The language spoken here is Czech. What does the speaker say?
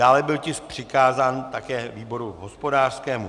Dále byl tisk přikázán také výboru hospodářskému.